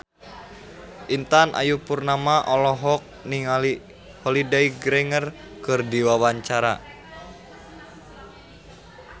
Intan Ayu Purnama olohok ningali Holliday Grainger keur diwawancara